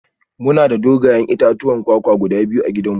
Muna da dogayen itatuwan kwakwa guda biyu a gidanmu